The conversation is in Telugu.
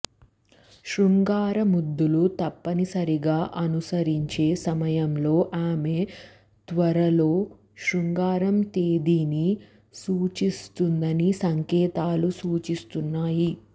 శృంగార ముద్దులు తప్పనిసరిగా అనుసరించే సమయంలో ఆమె త్వరలో శృంగార తేదీని సూచిస్తుందని సంకేతాలు సూచిస్తున్నాయి